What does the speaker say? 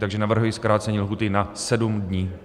Takže navrhuji zkrácení lhůty na sedm dní.